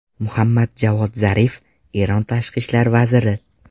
Muhammad Javod Zarif, Eron tashqi ishlar vaziri.